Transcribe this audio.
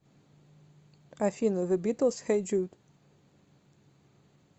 афина зе битлс хей джуд